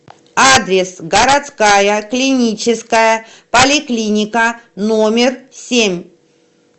адрес городская клиническая поликлиника номер семь